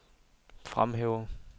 fremhæver